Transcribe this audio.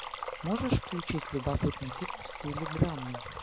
можешь включить любопытный фильм в стиле драмы